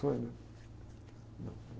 né? Não.